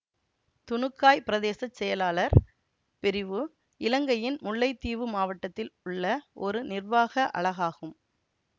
துணுக்காய் பிரதேச செயலாளர் பிரிவு இலங்கையின் முல்லைத்தீவு மாவட்டத்தில் உள்ள ஒரு நிர்வாக அலகாகும்